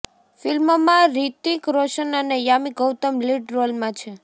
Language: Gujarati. ફિલ્મમાં રિતિક રોશન અને યામી ગૌતમ લીડ રોલમાં છે